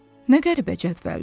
Nə qəribə cədvəldir!